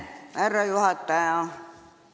Austatud härra juhataja!